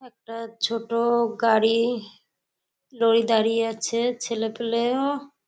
একটা ছোট গাড়ি লরি দাঁড়িয়ে আছে। ছেলে পেলেও--